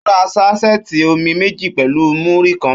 Ó ra ṣásẹẹti omi méjì pẹ̀lú múrí kan